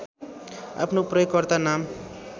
आफ्नो प्रयोगकर्ता नाम